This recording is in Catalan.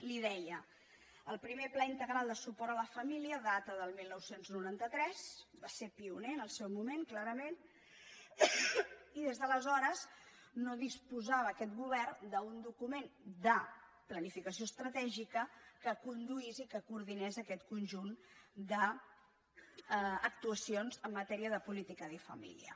li ho deia el primer pla integral de suport a la família data del dinou noranta tres va ser pioner en el seu moment clarament i des d’aleshores no disposava aquest govern d’un document de planificació estratègica que conduís i que coordinés aquest conjunt d’actuacions en matèria de política de família